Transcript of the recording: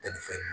Tɛ ni fɛn